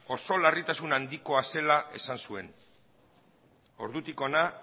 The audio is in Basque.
oso larritasun handikoa dela esan zuen ordutik hona